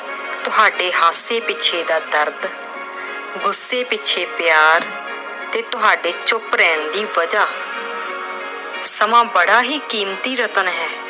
ਤੁਹਾਡੇ ਹਾਸੇ ਪਿੱਛੇ ਦਾ ਦਰਦ, ਗੁੱਸੇ ਪਿੱਛੇ ਪਿਆਰ ਤੇ ਤੁਹਾਡੇ ਚੁੱਪ ਰਹਿਣ ਦੀ ਵਜ੍ਹਾ। ਸਮਾਂ ਬੜਾ ਹੀ ਕੀਮਤੀ ਰਤਨ ਹੈ।